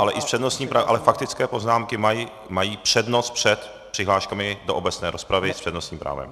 Ano, ale faktické poznámky mají přednost před přihláškami do obecné rozpravy s přednostním právem.